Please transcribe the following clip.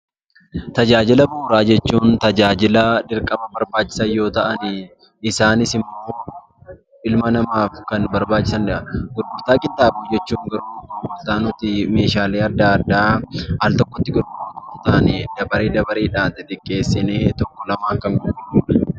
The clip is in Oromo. Tajaajila bu'uuraa jechuun tajaajila dirqama barbaachisaa ta'an ilma namaaf barbaachisaa kan ta'aniidha isaanis ilma namaaf barbaachisaa kan ta'aniidha. Gurgurtaa qinxaaboo jechuun wanta nuti meeshaalee adda addaa altokkotti dabaree dabareedhaan xixiqqeessinee gurgurruudha